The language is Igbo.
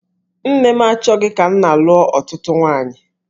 Nne m achọghị ka nna lụọ ọtụtụ nwaanyị.